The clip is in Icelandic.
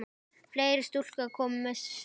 Fleiri stúlkur koma við sögu.